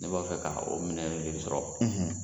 Ne b'a fɛ ka o minɛ sɔrɔ.